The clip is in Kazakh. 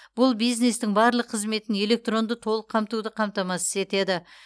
бұл бизнестің барлық қызметін электронды толық қамтуды қамтамасыз етеді